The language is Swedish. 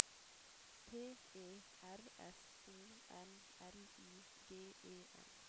P E R S O N L I G E N